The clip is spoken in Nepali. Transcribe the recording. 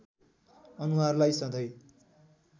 अनुहारलाई सधैँ